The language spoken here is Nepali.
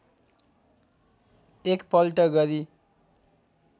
एक पल्ट गरी